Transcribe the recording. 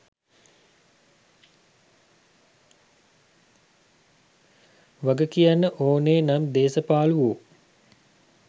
වග කියන්න ඕනේ නම් දේස පාලුවෝ.